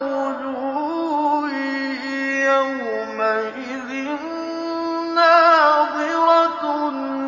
وُجُوهٌ يَوْمَئِذٍ نَّاضِرَةٌ